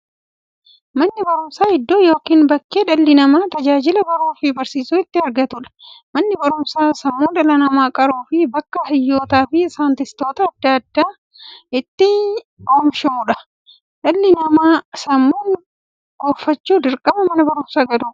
Manni baruumsaa iddoo yookiin bakkee dhalli namaa tajaajila baruufi barsiisuu itti argatuudha. Manni baruumsaa sammuu dhala namaa qaruufi bakka hayyootafi saayintistoota adda addaa itti oomishuudha. Dhalli namaa sammuun gufachuuf, dirqama Mana baruumsaa galuu qaba.